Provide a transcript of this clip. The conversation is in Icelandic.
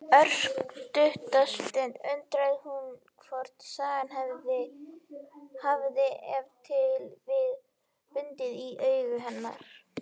Örskotsstund undrast hún hvort sagan hafi ef til vill búið í augum hennar.